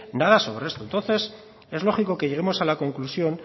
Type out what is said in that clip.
nada sobre esto entonces es lógico que lleguemos a la conclusión